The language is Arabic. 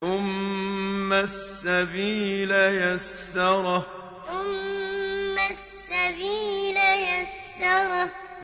ثُمَّ السَّبِيلَ يَسَّرَهُ ثُمَّ السَّبِيلَ يَسَّرَهُ